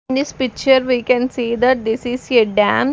In this picture we can see that this is a dam.